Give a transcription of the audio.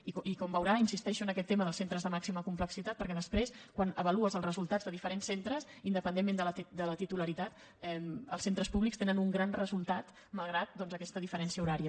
i com veurà insisteixo en aquest tema dels centres de màxima complexitat perquè després quan avalues els resultats de diferents centres independentment de la titularitat els centres públics tenen un gran resultat malgrat doncs aquesta diferència horària